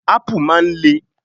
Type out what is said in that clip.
Ápù máa ń le.